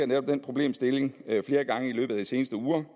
netop den problemstilling flere gange i løbet af de seneste uger og